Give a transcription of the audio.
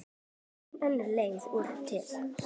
Engin önnur leið er til.